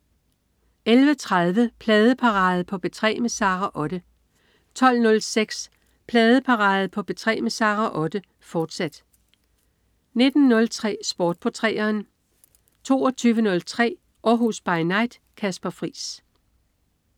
11.30 Pladeparade på P3 med Sara Otte 12.06 Pladeparade på P3 med Sara Otte, fortsat 19.03 Sport på 3'eren 22.03 Århus By Night. Kasper Friis